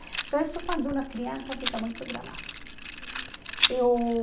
Então, isso é quando uma criança fica muito gravada. Eu